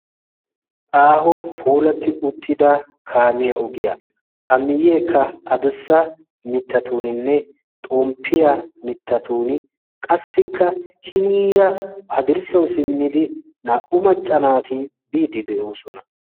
aaho poolatti uttida kaamiyaa ogiyaa a miyyeekka adossa mittatuuninne xomppiyaa mittatun qassikka hiniira hadirssawu simmidi naa77u maccanaati biidi de7oosona